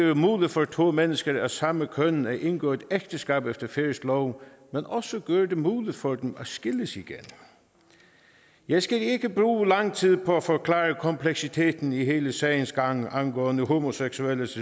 det muligt for to mennesker af samme køn at indgå ægteskab efter færøsk lov men også gør det muligt for dem at skilles igen jeg skal ikke bruge lang tid på at forklare kompleksiteten i hele sagens gang angående homoseksuelles